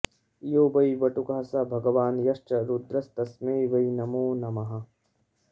यो वै वटुकः स भगवान् यश्च रुद्रस्तस्मै वै नमो नमः